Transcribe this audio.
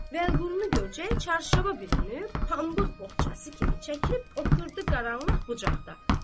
Vəliqulu görcək çarşaba bürünüb, pambıq bohçası kimi çəkilib oturdu qaranlıq bucaqda.